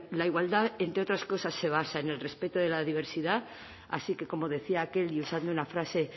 la igualdad entre otras cosas se basa en el respeto de la diversidad así que como decía aquel y usando una frase